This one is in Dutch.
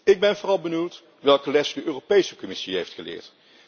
Ik ben vooral benieuwd welke lessen de Europese Commissie heeft geleerd.